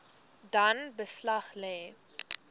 dan beslag lê